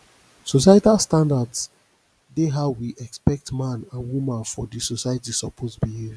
societal standards dey how we expect man and woman for di society suppose behave